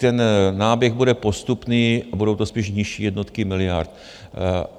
Ten náběh bude postupný a budou to spíš nižší jednotky miliard.